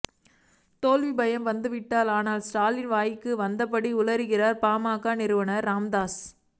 தோல்வி பயம் வந்துவிட்டது அதனால் ஸ்டாலின் வாய்க்கு வந்தபடி உளறுகிறார் பாமக நிறுவனர் ராமதாஸ்